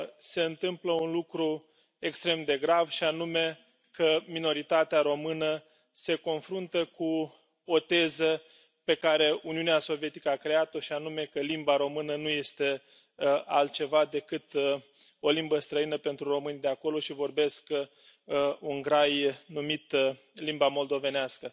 se întâmplă un lucru extrem de grav minoritatea română se confruntă cu o teză pe care Uniunea Sovietică a creat o, și anume că limba română nu este altceva decât o limbă străină pentru românii de acolo și că aceștia vorbesc un grai numit limba moldovenească.